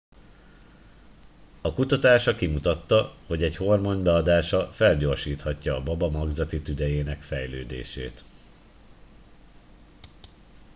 a kutatása kimutatta hogy egy hormon beadása felgyorsíthatja a baba magzati tüdejének fejlődését